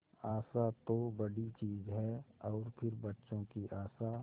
आशा तो बड़ी चीज है और फिर बच्चों की आशा